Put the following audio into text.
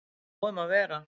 Nóg um að vera